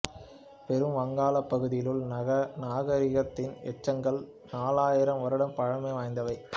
பெரும் வங்காளப் பகுதியிலுள்ள நாகரிகத்தின் எச்சங்கள் நாலாயிரம் வருட பழைமை வாய்ந்தவை